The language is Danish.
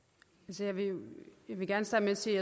nu har vi jo sådan set